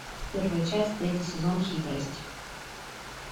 первая часть третий сезон хитрость